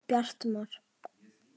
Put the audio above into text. Bjartmar